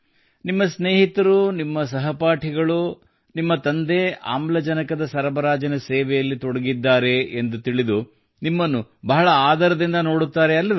ನಿಮ್ಮ ಸ್ನೇಹಿತರು ನಿನ್ನ ಸಹಪಾಠಿಗಳು ನಿಮ್ಮ ತಂದೆ ಆಮ್ಲಜನಕದ ಸರಬರಾಜಿನ ಸೇವೆಯಲ್ಲಿ ತೊಡಗಿದ್ದಾರೆ ಎಂದು ತಿಳಿದು ನಿಮ್ಮನ್ನು ಬಹಳ ಆದರದಿಂದ ನೋಡುತ್ತಾರೆ ಅಲ್ಲವೆ